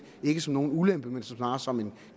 ikke som nogen ulempe snarere som en